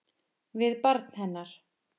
Við barn hennar.